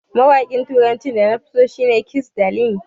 Mawaƙin turacin da nafi so a da shi ne Kizz Daniel.